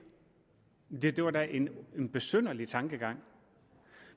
det var da en en besynderlig tankegang